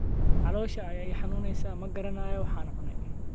Caloosha ayaa i xanuunaysa, ma garanayo waxaan cunay?